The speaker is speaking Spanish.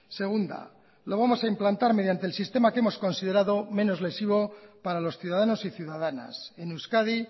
segunda lo vamos a implantar mediante el sistema que hemos considerado menos lesivo para los ciudadanos y ciudadanas en euskadi